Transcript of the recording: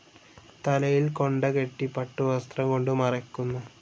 തലയിൽ കൊണ്ടകെട്ടി പട്ടുവസ്ത്രം കൊണ്ട് മറയ്ക്കുന്നു.